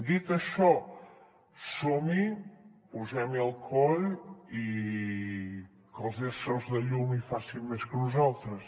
dit això som hi posem hi el coll i que els éssers de llum hi facin més que nosaltres